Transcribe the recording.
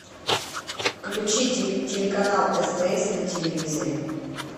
включи телеканал стс на телевизоре